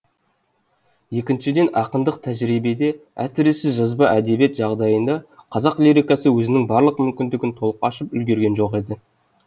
екіншіден ақындық тәжірибеде әсіресе жазба әдебиет жағдайында қазақ лирикасы өзінің барлық мүмкіндігін толық ашып үлгерген жоқ еді